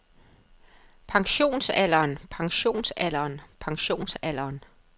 pensionsalderen pensionsalderen pensionsalderen